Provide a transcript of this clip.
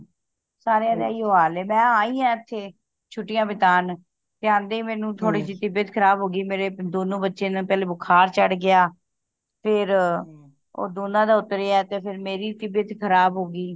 ਸਾਰਿਆਂ ਦਾ ਇਹੀਓ ਹਾਲ ਏ ਮੈਂ ਆਇਆਂ ਇਥੇ ਛੁਟਿਆ ਬੀਤਾਂਨ ਤੇ ਆਂਦੇ ਹੀ ਮੈਨੂੰ ਥੋੜੀ ਜੀ ਤਬੀਯਤ ਖਰਾਬ ਹੋ ਗਯੀ ਮੇਰੇ ਦੋਨੋ ਬੱਚਿਆਂ ਨੂੰ ਪਹਿਲਾ ਬੁਖਾਰ ਚੜ੍ਹ ਗਯਾ ਫੇਰ ਉਹ ਦੋਨਾਂ ਦਾ ਉਤਰਿਆ ਤੇ ਫੇਰ ਮੇਰੀ ਤਬੀਯਤ ਖਰਾਬ ਹੋ ਗੀ